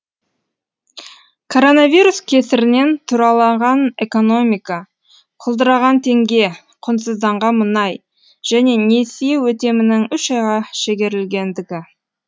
коронавирус кесірінен тұралаған экономика құлдыраған теңге құнсызданған мұнай және несие өтемінің үш айға шегерілгендігі